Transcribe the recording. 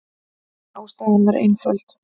Ástæðan var einföld.